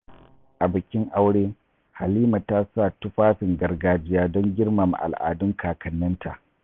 A bikin aure, Halima ta sa tufafin gargajiya don girmama al’adun kakanninta.